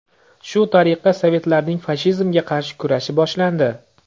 Shu tariqa sovetlarning fashizmga qarshi kurashi boshlandi.